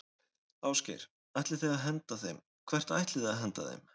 Ásgeir: Ætlið þið að henda þeim, hvert ætlið þið að henda þeim?